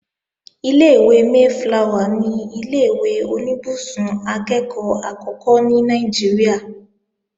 Ilé-ìwé Mayflower ni ilé-ìwé oníbùsùn akẹ́ẹ̀kọ́ àkọ́kọ́ ní Nàìjíríà